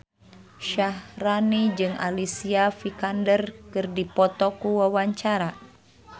Syaharani jeung Alicia Vikander keur dipoto ku wartawan